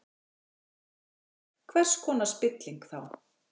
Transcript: Höskuldur: Hvers konar spilling, þá?